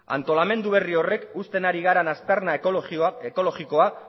nahi dugulako antolamendu berri horrek uzten ari garen aztarna ekologikoa